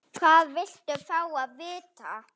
Hvað viltu fá að vita?